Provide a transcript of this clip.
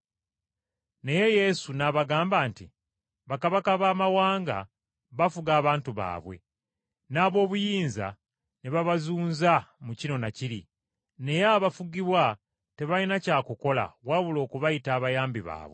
Naye Yesu n’abagamba nti, “Bakabaka b’abamawanga bafuga abantu baabwe, n’ab’obuyinza ne babazunza mu kino na kiri, naye abafugibwa tebalina kya kukola wabula okubayita abayambi baabwe.